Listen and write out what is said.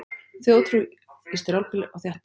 Þjóðtrú í strjálbýli og þéttbýli